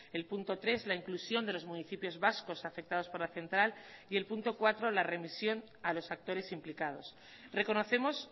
el punto tres la inclusión de los municipios vascos afectados por la central y el punto cuatro la remisión a los actores implicados reconocemos